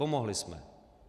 Pomohli jsme.